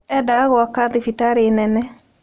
Eendaga gwaka thibitarĩ nene.